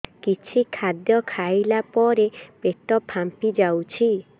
କିଛି ଖାଦ୍ୟ ଖାଇଲା ପରେ ପେଟ ଫାମ୍ପି ଯାଉଛି